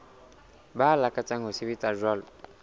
ba lakatsang ho sebetsa jwalo